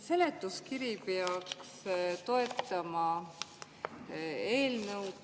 Seletuskiri peaks toetama eelnõu.